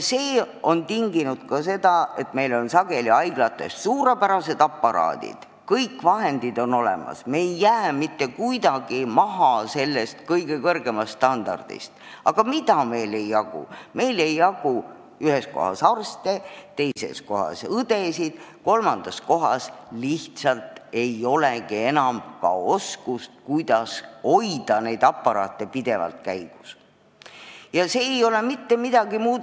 See on tinginud ka selle, et meil on sageli haiglates suurepärased aparaadid ja kõik vahendid on olemas, me ei jää mitte kuidagi maha kõige kõrgemast standardist, aga meil ei jagu ühes kohas arste, teises kohas õdesid, kolmandas kohas lihtsalt ei olegi enam oskust, kuidas neid aparaate pidevalt käigus hoida.